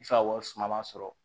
I fa wari suma man sɔrɔ